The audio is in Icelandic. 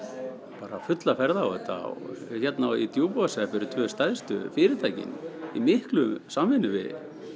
bara fulla ferð á þetta og hérna í Djúpavogshreppi eru tvö stærstu fyrirtækin í mikilli samvinnu við